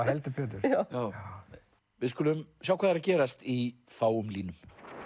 heldur betur við skulum sjá hvað er að gerast í fáum línum